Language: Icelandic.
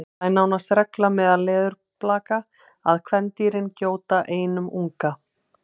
það er nánast regla meðal leðurblaka að kvendýrin gjóti einum unga